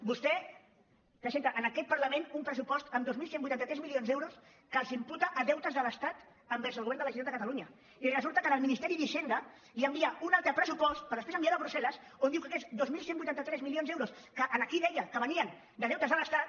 vostè presenta en aquest parlament un pressupost amb dos mil cent i vuitanta tres milions d’euros que els imputa a deutes de l’estat envers el govern de la generalitat de catalunya i resulta que al ministeri d’hisenda li envia un altre pressupost per després enviarlo a brusselque aquests dos mil cent i vuitanta tres milions d’euros que aquí deia que venien de deutes de l’estat